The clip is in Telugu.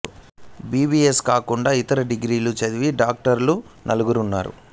బి బి ఎస్ కాకుండా ఇతర డిగ్రీలు చదివిన డాక్టర్లు నలుగురు ఉన్నారు